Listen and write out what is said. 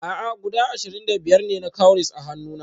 A'a guda ashirin da biyar ne na cowries a hannuna